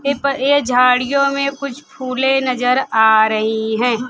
के पर ये झाड़ियों में कुछ फूलें नजर आ रही हैं।